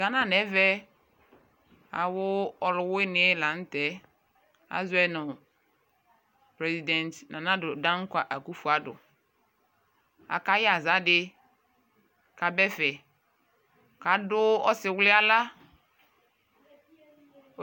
Ghana no ɛvɛ awo ɔluwiniɛ lantɛ azɔɛ no president Nana Addo Dankwa Akufo Addo aka yɛ aza di ko aba ɛfɛ ko ado ɔsiwli yɛ ala